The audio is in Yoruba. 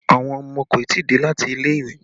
Àwọn ọmọ kò tí ì dé láti ilé ìwé